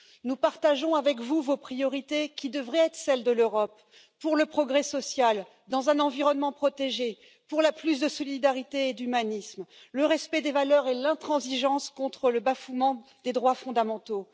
Nous partageons vos priorités, qui devraient être celles de l'Europe pour le progrès social, dans un environnement protégé, pour plus de solidarité et d'humanisme, le respect des valeurs et l'intransigeance contre le bafouement des droits fondamentaux.